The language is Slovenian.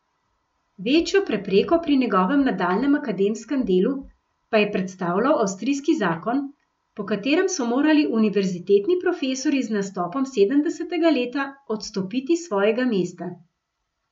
Večjo prepreko pri njegovem nadaljnjem akademskem delu pa je predstavljal avstrijski zakon, po katerem so morali univerzitetni profesorji z nastopom sedemdesetega leta odstopiti s svojega mesta.